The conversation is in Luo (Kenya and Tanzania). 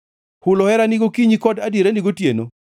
hulo herani gokinyi kod adierani gotieno,